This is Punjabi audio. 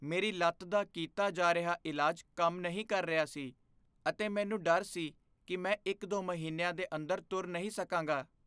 ਮੇਰੀ ਲੱਤ ਦਾ ਕੀਤਾ ਜਾ ਰਿਹਾ ਇਲਾਜ ਕੰਮ ਨਹੀਂ ਕਰ ਰਿਹਾ ਸੀ ਅਤੇ ਮੈਨੂੰ ਡਰ ਸੀ ਕੀ ਮੈਂ ਇੱਕ ਦੋ ਮਹੀਨਿਆਂ ਦੇ ਅੰਦਰ ਤੁਰ ਨਹੀਂ ਸਕਾਂਗਾ